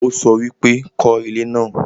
ó sọ wípé 'kọ́ ilé náà'